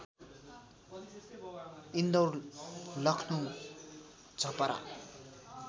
Indore Lucknow Chhapra